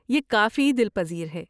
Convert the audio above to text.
یہ کافی دل پذیر ہے۔